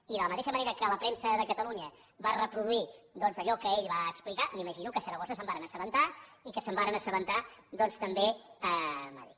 i de la mateixa manera que la premsa de catalunya va reproduir doncs allò que ell va explicar m’imagino que a saragossa se’n varen assabentar i que se’n varen assabentar també a madrid